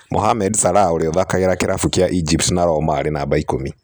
Mohamed Salah ũria ũthakagira kĩravũkĩa Egypt na Roma arĩ numba ikũmi